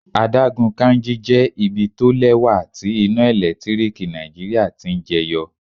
Adágún Kainji jẹ́ ibi tó lẹ́wà tí iná ẹ̀lẹ́tíríkì Nàìjíríà ti ń jẹ yọ.